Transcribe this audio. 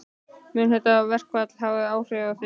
Mun þetta verkfall hafa áhrif á þig?